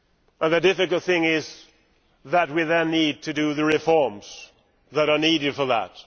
But the difficult thing is that we now need to do the reforms that are needed for that.